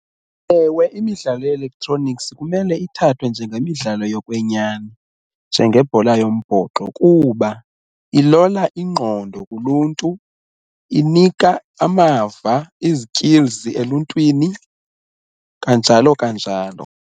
Ewe, imidlalo ye-electronics kumele ithathwe njengemidlalo yokwenyani njengebhola yombhoxo kuba ilola ingqondo kuluntu, inika amava izikilzi eluntwini kanjalo kanjalo.